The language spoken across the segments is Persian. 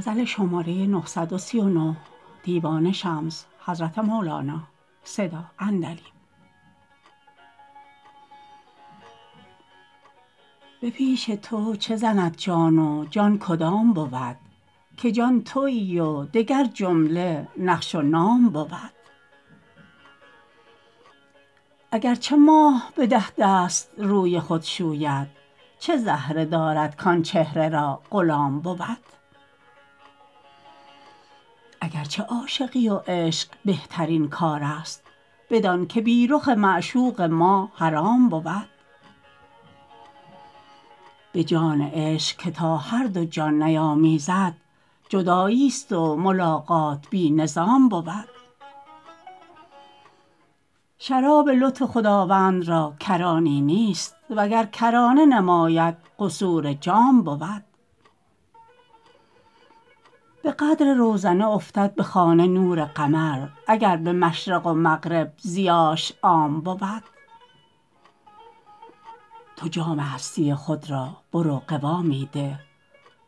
به پیش تو چه زند جان و جان کدام بود که جان توی و دگر جمله نقش و نام بود اگر چه ماه به ده دست روی خود شوید چه زهره دارد کان چهره را غلام بود اگر چه عاشقی و عشق بهترین کار است بدانک بی رخ معشوق ما حرام بود به جان عشق که تا هر دو جان نیامیزد جداییست و ملاقات بی نظام بود شراب لطف خداوند را کرانی نیست وگر کرانه نماید قصور جام بود به قدر روزنه افتد به خانه نور قمر اگر به مشرق و مغرب ضیاش عام بود تو جام هستی خود را برو قوامی ده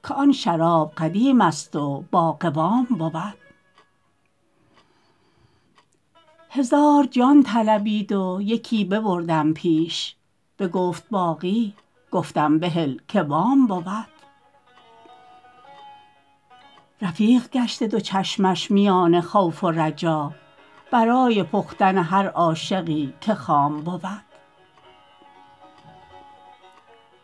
که آن شراب قدیمست و باقوام بود هزار جان طلبید و یکی ببردم پیش بگفت باقی گفتم بهل که وام بود رفیق گشته دو چشمش میان خوف و رجا برای پختن هر عاشقی که خام بود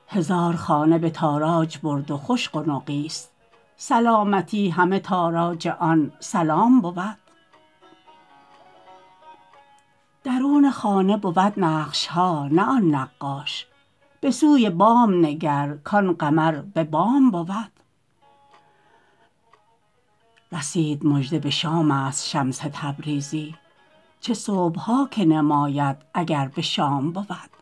هزار خانه به تاراج برد و خوش قنقیست سلامتی همه تاراج آن سلام بود درون خانه بود نقش ها نه آن نقاش به سوی بام نگر کان قمر به بام بود رسید مژده به شامست شمس تبریزی چه صبح ها که نماید اگر به شام بود